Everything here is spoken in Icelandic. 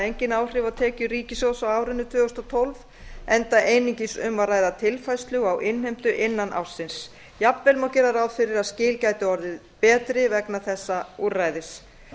engin áhrif á tekjur ríkissjóðs á árinu tvö þúsund og tólf enda einungis um að ræða tilfærslu á innheimtu innan ársins jafnvel má gera ráð fyrir að skil gætu orðið betri vegna þessa úrræðis